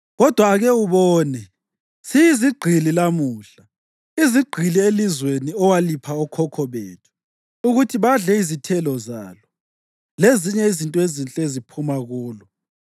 Kodwa ake ubone, siyizigqili lamuhla, izigqili elizweni owalipha okhokho bethu ukuthi badle izithelo zalo lezinye izinto ezinhle eziphuma kulo.